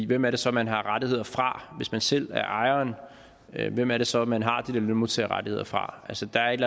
hvem er det så man har rettigheder fra hvis man selv er ejeren hvem er det så man har de der lønmodtagerrettigheder fra altså der er et